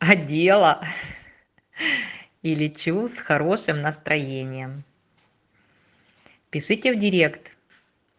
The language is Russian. одела ха-ха и лечу с хорошим настроением пишите в директ